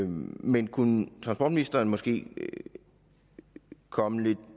men kunne transportministeren måske komme det